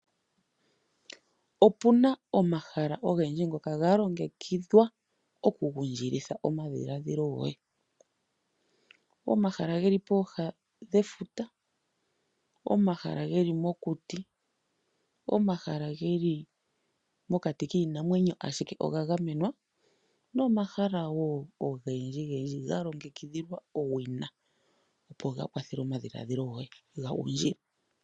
Opuna omahala ngoka ga longekidhwa okugundjilitha omadhiladhilo goye. Omahala geli pooha nefuta, omahala geli mokuti, omahala geli mokati kiinamwenyo ashike oga gamenwa nomahala wo ogendji gendji ga longekidhilwa owina opo ga kwathele omadhiladhilo goye ga gundjile.